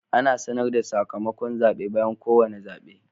Ana sanar da sakamakon zaɓe bayan kowane zaɓe.